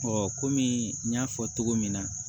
kɔmi n y'a fɔ cogo min na